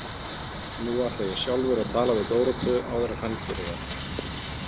Nú ætla ég sjálfur að tala við Dóróteu áður en hann gerir það.